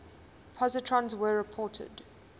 positrons were reported